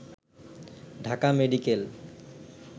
Dhaka medical